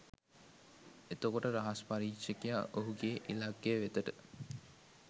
එතකොට රහස් පරීක්ෂකයා ඔහුගේ ඉලක්කය වෙතට